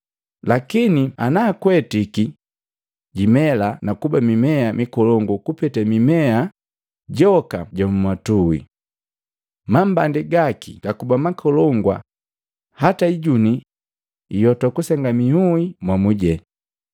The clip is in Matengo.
Lakini naakwetiki jimela nakuba mimea mikolongu kupeta mimea joka jammatui. Mambandi gaki gakuba makolongu hata ijuni ioto kusenga miui momu jene.”